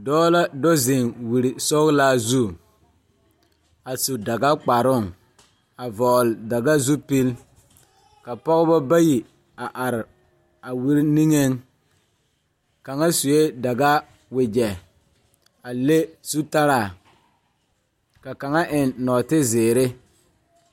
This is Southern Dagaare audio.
Dɔɔ la do zeŋ wiri sɔglaa zu a su dagkparoŋ a vɔgle daga zupil ka pɔgebɔ bayi a are a wiri niŋeŋ kaŋa suee daga wogyɛ a le zutaraa ka kaŋa eŋ nɔɔte zeere.